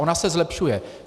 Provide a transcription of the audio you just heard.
Ona se zlepšuje.